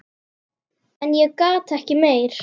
En ég gat ekki meir.